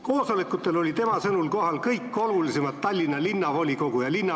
" Koosolekutel olid tema sõnul kohal kõik olulisemad linnavolikogu ja linnavalitsuse liikmed ...